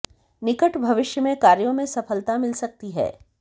निकट भविष्य में कार्यों में सफलता मिल सकती है